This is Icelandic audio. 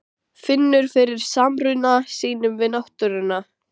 Finnur fyrir samruna sínum við náttúruna.